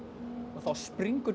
og þá springur